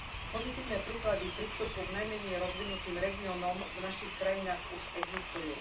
Pozitívne príklady prístupu k najmenej rozvinutým regiónom v našich krajinách už existujú.